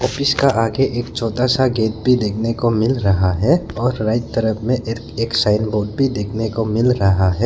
इसका आगे एक छोटा सा गेट भी देखने को मिल रहा है और राइट तरफ में एक साइन बोर्ड भी देखने को मिल रहा है।